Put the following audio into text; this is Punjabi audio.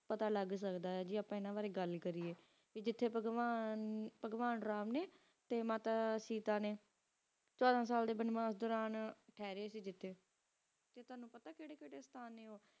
ਜੀ ਆਪਾਂ ਏਨਾ ਬਰੀ ਗਲ ਕਰਿਅਯ ਟੀ ਜਿਤੀ ਪਾਗ੍ਵਾਂ ਪਾਗ੍ਵਾਂ ਰਾਮ ਨੀ ਟੀ ਮਾਤਾ ਚੇਤਾ ਨੀ ਚੋਦਾਂ ਸਾਲ ਦੀ ਟੇਹਰੀ ਸੇ ਜਿਤੀ ਟੀ ਤਾਵਾਨੁ ਪਤਾ ਕੇਰੀ ਕੇਰੀ ਉਸਤਾਦ ਨੀ ਓਹ